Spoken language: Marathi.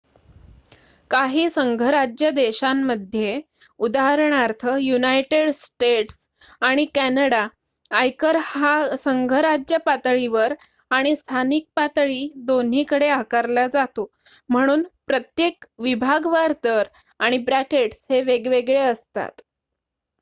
काही संघराज्य देशांमध्ये उदाहरणार्थ युनायटेड स्टेट्स आणि कॅनडा आयकर हा संघराज्य पातळीवर आणि स्थानिक पातळी दोन्हीकडे आकारला जातो म्हणून प्रत्येक विभागवार दर आणि ब्रॅकेट्स हे वेगवेगळे असतात